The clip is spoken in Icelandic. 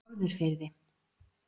Norðurfirði